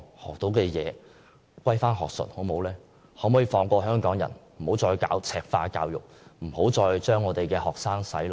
希望當局可以學術歸學術，放過香港人，別再進行"赤化"教育，把我們的學生"洗腦"。